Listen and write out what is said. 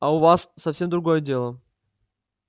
а у вас совсем другое дело